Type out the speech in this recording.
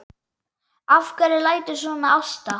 Af hverju læturðu svona Ásta?